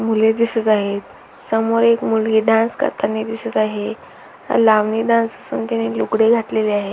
मुले दिसत आहेत समोर एक मुलगी डान्स करतानी दिसत आहे लावणी डान्स असून तिने लुगडे घातलेले आहे.